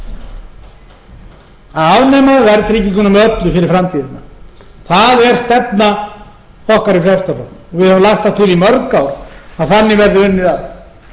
því að afnema verðtrygginguna með öllu fyrir framtíðina það er stefna okkar í frjálslynda flokknum við höfum lagt það til í mörg ár að þann verði unnið að